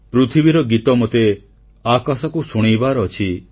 ପୃଥିବୀର ଗୀତ ମୋତେ ଆକାଶକୁ ଶୁଣେଇବାର ଅଛି